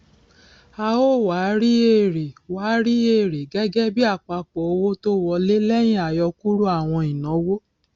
a ó wá rí èrè wá rí èrè gẹgẹbí àpapọ owó tó wọlé lẹyìn àyọkúrò àwọn ìnáwó